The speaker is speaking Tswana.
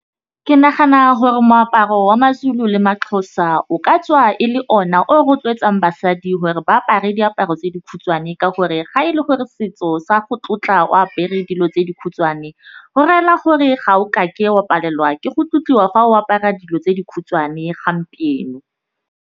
Ke nahana gore moaparo wa ma-Zulu le ma-Xhosa o ka tswa e le ona o o rotloetsang basadi gore ba apare diaparo tse dikhutshwane ka gore ga e le gore setso sa go tlotla o apere dilo tse dikhutshwane. Go rela gore ga o kake wa palelwa ke go tlotliwa fa o apara dilo tse dikhutshwane gompieno.